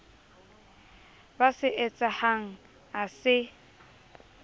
ba se etsahang ha se